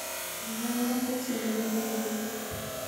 Lipanwan teksi newendi opis